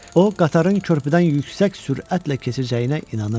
O, qatarın körpüdən yüksək sürətlə keçəcəyinə inanırdı.